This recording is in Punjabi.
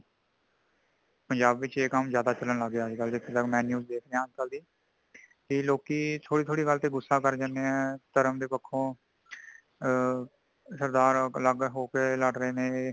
ਪੰਜਾਬ ਵਿਚ ਇਹ ਕੰਮ ਜਿਆਂਦਾ ਚਲਣ ਲੱਗ ਗਿਆ ਅੱਜ ਕੱਲ ਮੇਨੂ ਦੇਖਿਆ ਕਿ ਲੋਕੀਂ ਥੋੜੀ ਥੋੜੀ ਗੱਲ ਤੇ ਗੁੱਸਾ ਕਰ ਜਾਂਦੇ ਹੈ |ਧਰਮ ਦੇ ਪੱਖੋਂ ਆ ਸਰਦਾਰ ਅਲੱਗ ਹੋਕੇ ਲੜ ਰਹੇ ਨੇ